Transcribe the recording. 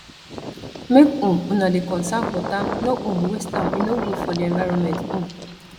make um una dey conserve water no um waste am e no good for di environment um